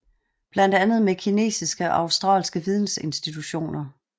Blandt andet med kinesiske og australske vidensinstitutioner